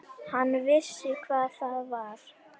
Hann vissi hvað það var.